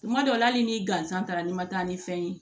Tuma dɔw la hali ni gansan taara ni ma taa ni fɛn ye